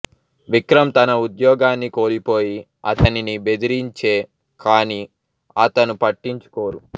విక్రమ్ తన ఉద్యోగాన్ని కోల్పోయి అతనిని బెదిరించే కానీ అతను పట్టించుకోరు